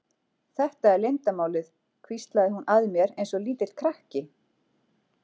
Þetta er leyndarmálið hvíslaði hún að mér eins og lítill krakki.